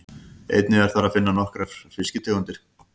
Einnig er þar að finna nokkrar fiskitegundir.